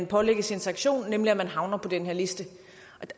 pålægges en sanktion nemlig at man havner på den her liste